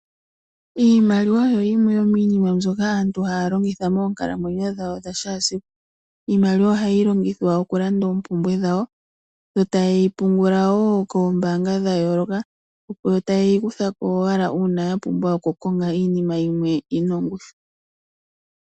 Iimaliwa oyo yimwe yomiinima mbyoka aantu haya longitha moonkalamwenyo dhawo dhakehe esiku. Iimaliwa ohayi longithwa okulanda oompumbwe dhawo, yo taye yi pungula wo koombaanga dhayooloka, opo yeyi kutheko owala uuna yapumbwa oku kakonga iinima yimwe yina ongushu.